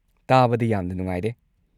ꯇꯥꯕꯗ ꯌꯥꯝꯅ ꯅꯨꯡꯉꯥꯏꯔꯦ꯫